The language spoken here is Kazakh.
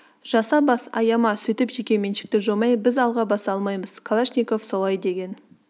жаса бас аяма сөйтіп жеке меншікті жоймай біз алға баса алмаймыз калашников солай деген